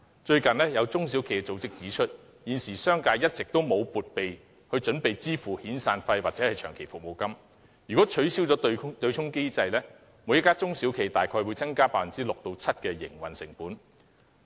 最近，有中小企組織指出，現時商界一直沒有為遣散費或長期服務金作撥備，一旦取消對沖機制，每家中小企大概會增加 6% 至 7% 的營運成本。